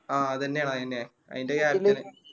ആ അതെന്നെയാണ് അതെന്നെ അയിൻറെ